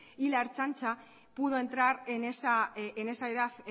y la ertzaintza pudo entrar en esa edad